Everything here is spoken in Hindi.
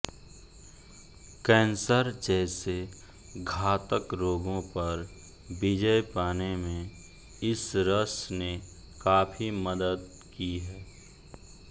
कैंसर जैसे घातक रोगों पर विजय पाने में इस रस ने काफी मदद की है